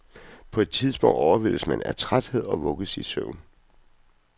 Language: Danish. På et tidspunkt overvældes man af trætheden og vugges i søvn.